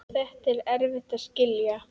Þetta er erfitt að skilja.